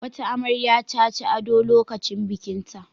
Wata amarya ta ci ado lokacin bikinta.